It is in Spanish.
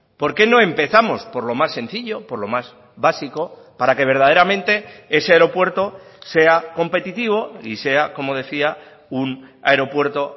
por qué no empezamos por lo más sencillo por lo más básico para que verdaderamente ese aeropuerto sea competitivo y sea como decía un aeropuerto